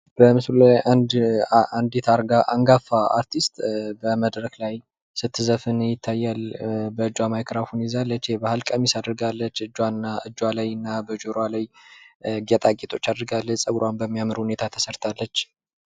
በምስሉ ላይ አንዲት አንጋፋ አርቲስት በመድረክ ላይ ስትዘፍን ይታያል። በእጇ ማይክራፎን ይዛለች። የባህል ቀሚስ አድርጋለች። እጇና እጇ ላይና በጆሮዋ ላይ ጌጣጌጦች አድርጋለች። ጸጉሯን በሚያምር ሁኔታ ተሰርታለች።